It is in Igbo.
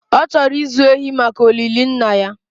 ọ chọrọ ịzụ ehi maka olili Nna ya